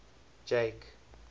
jake